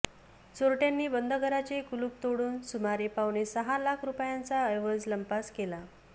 चोरट्यांनी बंद घराचे कुलूप तोडून सुमारे पावणेसहा लाख रुपयांचा ऐवज लंपास केला